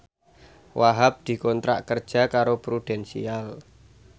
Wahhab dikontrak kerja karo Prudential